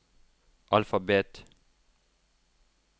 alfabet